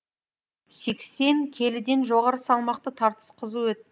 сексен келіден жоғары салмақты тартыс қызу